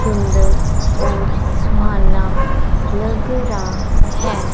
सुंदर और सुहाना लग रहा है।